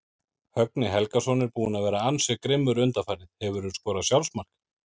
Högni Helgason er búinn að vera ansi grimmur undanfarið Hefurðu skorað sjálfsmark?